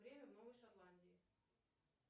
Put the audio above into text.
время в новой шотландии